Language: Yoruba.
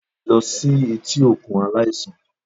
Lọ si eti okun alaisan!